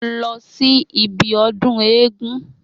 Mo lọ sí ibi ọdún eégún.